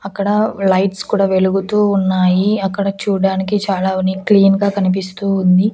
అక్కడ లైట్స్ కూడా వెలుగుతూ ఉన్నాయి అక్కడ చూడడానికి చాలా క్లీన్ గా కనిపిస్తూ ఉంది.